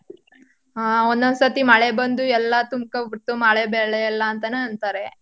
ಹಾ ಒಂದ್ ಒಂದ್ಸತಿ ಮಳೆ ಬಂದು ಎಲ್ಲ ತುಂಬ್ಕಬಿಡ್ತು ಮಳೆ ಬೆಳೆ ಎಲ್ಲಾ ಅಂತನೂ ಅಂತಾರೆ.